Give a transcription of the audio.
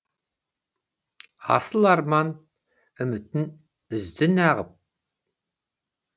асыл арман үмітін үзді нағып